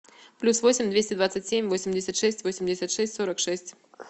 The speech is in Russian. плюс восемь двести двадцать семь восемьдесят шесть восемьдесят шесть сорок шесть